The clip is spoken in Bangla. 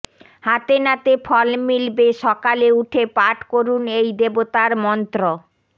হাতেনাতে ফল মিলবে সকালে উঠে পাঠ করুন এই দেবতার মন্ত্র